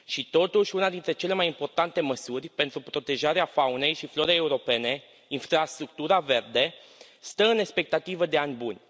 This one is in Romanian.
Și totuși, una dintre cele mai importante măsuri pentru protejarea faunei și florei europene infrastructura verde stă în expectativă de ani buni.